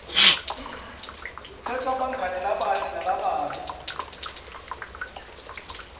kukhetsa bangani labahle nalababi